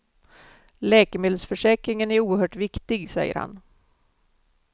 Läkemedelsförsäkringen är oerhört viktig, säger han.